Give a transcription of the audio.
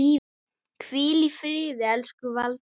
Hvíl í friði elsku Valdís.